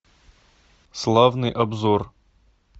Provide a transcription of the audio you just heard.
славный обзор